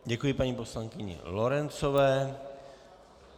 Děkuji paní poslankyni Lorencové.